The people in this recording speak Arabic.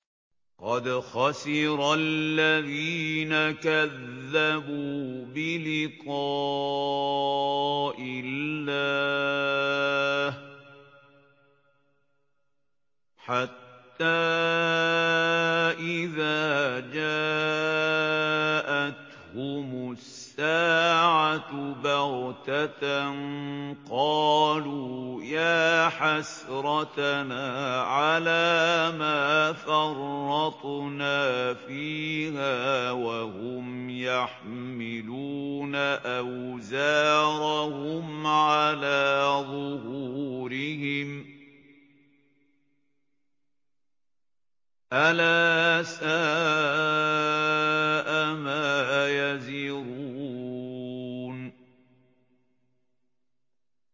قَدْ خَسِرَ الَّذِينَ كَذَّبُوا بِلِقَاءِ اللَّهِ ۖ حَتَّىٰ إِذَا جَاءَتْهُمُ السَّاعَةُ بَغْتَةً قَالُوا يَا حَسْرَتَنَا عَلَىٰ مَا فَرَّطْنَا فِيهَا وَهُمْ يَحْمِلُونَ أَوْزَارَهُمْ عَلَىٰ ظُهُورِهِمْ ۚ أَلَا سَاءَ مَا يَزِرُونَ